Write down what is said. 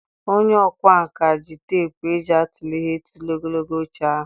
Onye ọkwá nkà ji teepu eji atụle ihe tụlee ogologo oche ahụ.